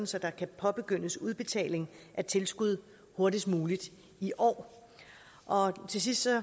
så der kan påbegyndes udbetaling af tilskud hurtigst muligt i år til sidst